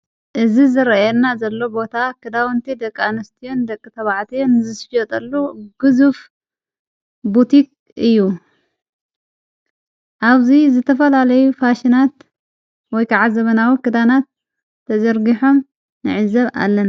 እዝ ዝረአርና ዘሎ ቦታ ክዳውንቲ ደቃንስትን ደቂ ተብዕትን ዝስየጠሉ ግዝፍ ቡቲኽ እዩ ኣውዙይ ዝተፈልለዩ ፋሽናት ወይከዓ ዘበናዊ ክዳናት ተዘርጊሖም ነዕዘብ ኣለና።